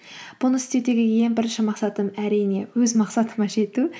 бұны істеудегі ең бірінші мақсатым әрине өз мақсатыма жету